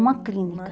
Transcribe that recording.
Uma clínica.